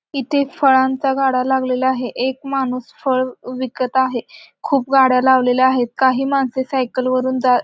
इथे फळांचा गाडा लागलेला आहे एक माणूस फळ विकत आहे खूप गाड्या लावलेल्या आहेत काही माणसे सायकल वरून जात--